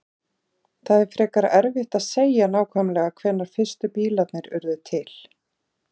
Það er frekar erfitt að segja nákvæmlega hvenær fyrstu bílarnir urðu til.